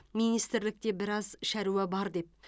министрлікте біраз шаруа бар деп